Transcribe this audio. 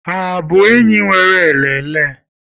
Ha abụ enyi nwéré elele?